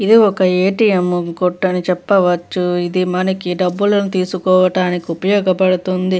ఇది ఒక A T M కొట్టు అని చెప్పవచ్చుఇది మనం డబ్బులు తీసుకోవడానికి ఉపయోగపడుతుంది .